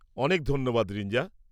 অনেক ধন্যবাদ, রিঞ্জা।